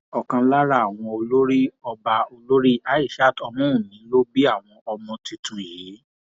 ọkan lára àwọn olórí ọba olórí aishat ọmọwunmi ló bí àwọn ọmọ tuntun yìí